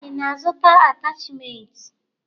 Ị na-azụta atachimentị?